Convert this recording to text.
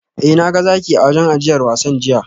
Eh na ga zaki a wurin ajiyar wasan jiya